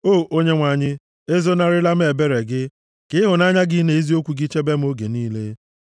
O Onyenwe anyị, ezonarịla m ebere gị, ka ịhụnanya gị na eziokwu gị chebe m oge niile.